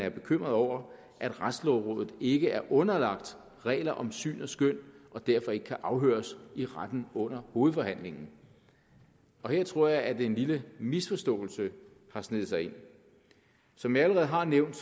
er bekymrede over at retslægerådet ikke er underlagt regler om syn og skøn og derfor ikke kan afhøres i retten under hovedforhandlingen her tror jeg at en lille misforståelse har sneget sig ind som jeg allerede har nævnt